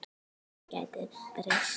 Það gæti breyst.